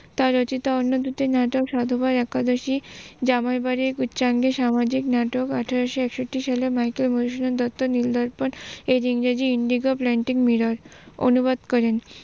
তার রচিত অন্য দুটি নাটক সাধুবাদ একাদশি, জামাই বাড়ী সামাজিক নাটক আঠারোশ একষট্রি সালে মাইকেল মধুসূদন দত্ত নীল দর্পন এর ইংরেজি Indigo Planting Mirror অনুবাদ করেন।